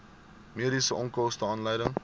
mediese onkoste aanleiding